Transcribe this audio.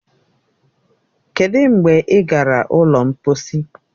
Kedụ mgbe ị gara ụlọ mposi